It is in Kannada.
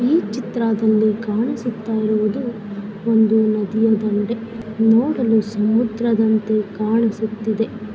ಈ ಚಿತ್ರದಲ್ಲಿ ಕಾಣಿಸುತ್ತಾ ಇರೋದು ಒಂದು ನದಿಯ ದಂಡೆ ನೋಡಲು ಸಮುದ್ರದಂತೆ ಕಾಣಿಸುತ್ತಿದೆ.